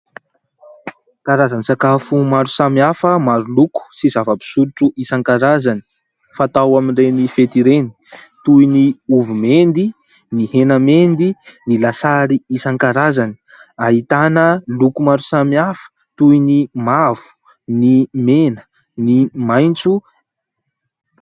Karazan-tsakafo maro samihafa maroloko, sy zava-pisotro isankarazany fatao amin'ireny fety ireny, toy ny ovy mendy, ny hena mendy, ny lasary isankarazany. Ahitana loko maro samihafa toy ny mavo, ny mena, ny maintso.